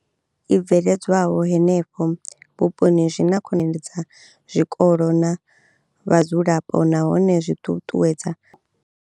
I bveledzwaho henefho vhuponi zwi na khonedza zwikolo na vhadzulapo nahone zwi ṱuṱuwedza.